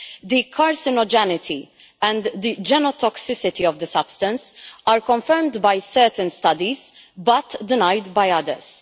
The carcinogenity and the genotoxicity of the substance are confirmed by certain studies but denied by others.